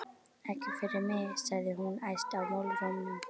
Ekki fyrir mig! sagði hún æst í málrómnum.